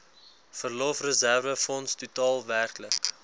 verlofreserwefonds totaal werklik